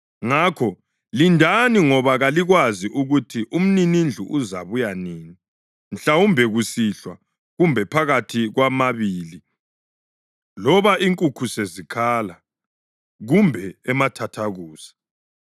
Ngakho lindani ngoba kalikwazi ukuthi umninindlu uzabuya nini, mhlawumbe kusihlwa, kumbe phakathi kwamabili, loba inkukhu sezikhala kumbe emathathakusa.